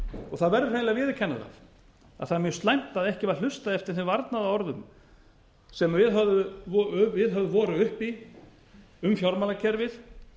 og það verður hreinlega að viðurkenna það að það er mjög slæmt að ekki var hlustað eftir þeim varnaðarorðum sem viðhöfð voru um fjármálakerfið